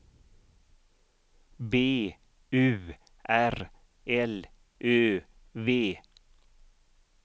B U R L Ö V